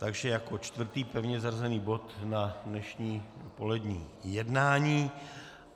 Takže jako čtvrtý pevně zařazený bod na dnešní odpolední jednání.